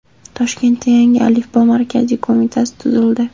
Toshkentda Yangi alifbo markaziy qo‘mitasi tuzildi.